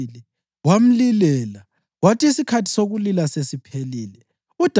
Kwathi umka-Uriya esezwile ukuthi umkakhe usefile, wamlilela.